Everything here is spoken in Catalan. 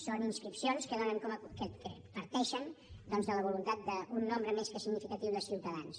són inscripcions que parteixen de la voluntat d’un nombre més que significatiu de ciutadans